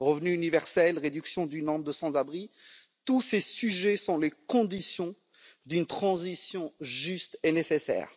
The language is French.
revenu universel, réduction du nombre de sans abri, tous ces sujets sont les conditions d'une transition juste et nécessaire.